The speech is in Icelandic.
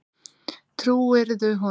Trúirðu honum?